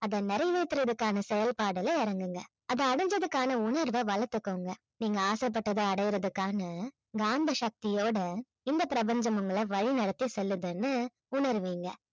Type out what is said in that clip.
அதை நிறைவேற்றுவதற்கான செயல்பாடுல இறங்குங்க அதை அடைஞ்சதுக்கான உணர்வை வளர்த்துக்கோங்க நீங்க ஆசைப்பட்டதை அடையறதுக்கான காந்தசக்தியோட இந்த பிரபஞ்சம் உங்களை வழி நடத்தி செல்லுதுன்னு உணருவீங்க